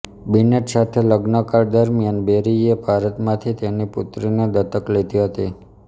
Binet સાથે લગ્નકાળ દરમિયાન બેરીએ ભારતમાંથી તેની પુત્રીને દત્તક લીધ હતી